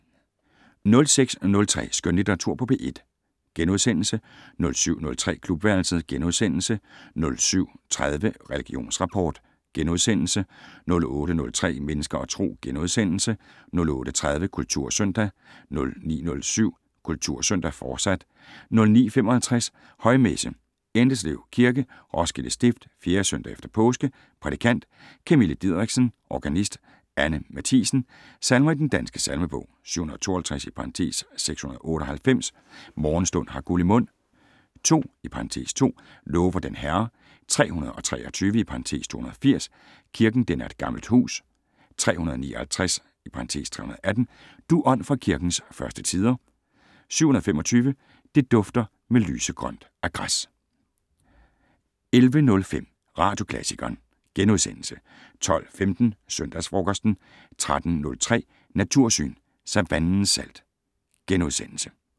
06:03: Skønlitteratur på P1 * 07:03: Klubværelset * 07:30: Religionsrapport * 08:03: Mennesker og Tro * 08:30: Kultursøndag 09:07: Kultursøndag, fortsat 09:55: Højmesse - Endeslev Kirke, Roskilde Stift. 4. søndag efter påske. Prædikant: Camille Diderichsen. Organist: Anne Mathiesen. Salmer i Den Danske Salmebog: 752 (698) "Morgenstund har guld i mund". 2 (2) "Lover den Herre". 323 (280) "Kirken den er et gammelt hus". 359 (318) "Du Ånd fra kirkens første tider". 725 "Det dufter mlysegrønt af græs". 11:05: Radioklassikeren * 12:15: Søndagsfrokosten 13:03: Natursyn: Savannens salt *